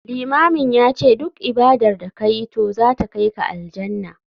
Limamin yace duk ibadar da kayi to zata kaika Aljannah.